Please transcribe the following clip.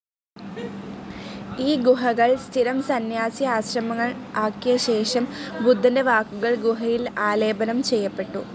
ഈ ഗുഹകൾ സ്ഥിരം സന്യാസി ആശ്രമങ്ങൾ ആക്കിയ ശേഷം, ബുദ്ധൻ്റെ വാക്കുകൾ ഗുഹയിൽ ആലേപനം ചെയ്യപ്പെട്ടു.